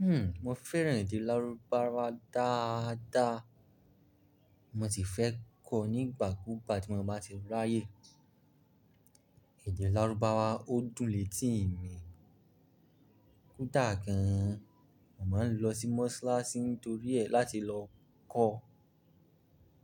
Hmm, mo fẹ́ràn èdè lárúbáwá dáadáa. Mo sì fẹ́ kọ́ nígbà kúùgba tí mo bá ti ráyè. Èdè lárúbáwá ó dùn létí mi kútà kan. Mo máa ń lọ sí Mọ́slásí n tòrí ẹ̀ láti lọ kọ́ ọ́.